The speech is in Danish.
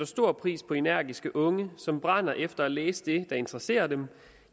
stor pris på energiske unge som brænder efter at læse det der interesserer dem